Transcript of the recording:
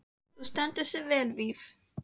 Þú stendur þig vel, Víf!